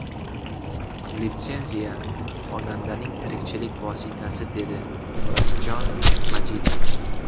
Litsenziya xonandaning tirikchilik vositasi”, dedi Murodjon Majidov.